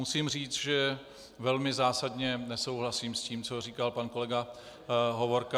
Musím říct, že velmi zásadně nesouhlasím s tím, co říkal pan kolega Hovorka.